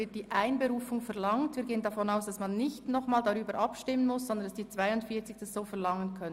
Wir nehmen dies entgegen und gehen davon aus, dass 42 Unterschriften ausreichen, sodass nicht darüber abgestimmt werden muss.